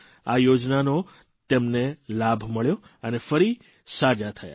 આ યોજનાનો તેમને લાભ મળ્યો અને ફરી સાજા થયા